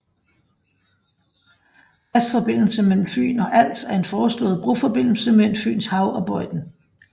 Fast forbindelse mellem Fyn og Als er en foreslået broforbindelse mellem Fynshav og Bøjden